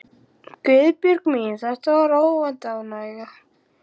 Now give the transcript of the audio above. Guðbjörg mín, þetta var óvænt ánægja.